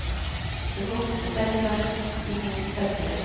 Den vokste seg tvert i mot sterkere.